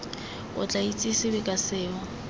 o tla itsesewe ka seo